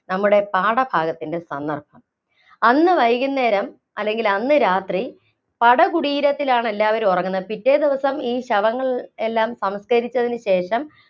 നമ്മുടെ പാഠഭാഗത്തിന്‍റെ സന്ദര്‍ഭം. അന്ന് വൈകുന്നേരം, അല്ലെങ്കില്‍ അന്ന് രാത്രി പടകുടീരത്തിലാണ് എല്ലാവരും ഉറങ്ങുന്നത്. പിറ്റേ ദിവസം ഈ ശവങ്ങള്‍ എല്ലാം സംസ്കരിച്ചതിനു ശേഷം